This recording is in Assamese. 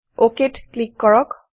OKত ক্লিক কৰক